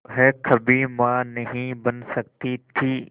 वह कभी मां नहीं बन सकती थी